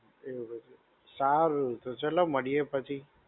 એવું બધું. સારું તો ચલો મળીએ પછી.